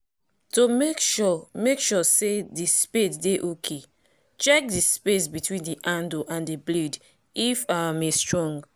to make sure make sure say the spade dey okay check the space between the handle and the blade if im strong